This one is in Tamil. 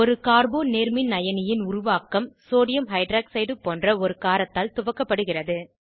ஒரு கார்போ நேர்மின்அயனி ன் உருவாக்கம் சோடியம் ஹைட்ராக்சைடு போன்ற ஒரு காரத்தால் துவக்கப்படுகிறது